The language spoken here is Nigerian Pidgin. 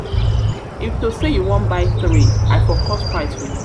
if to say you wan buy three i for cut price for you